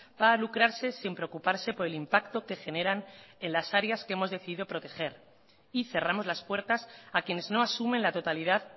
para lucrarse sin preocuparse por el impacto que generan en las áreas que hemos decidido proteger y cerramos las puertas a quienes no asumen la totalidad